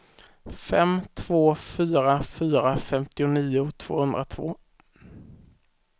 fem två fyra fyra femtionio tvåhundratvå